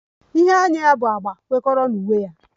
Ihe anya ya bụ agba kwekọrọ na uwe ya